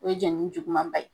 O ye jani juguman ba ye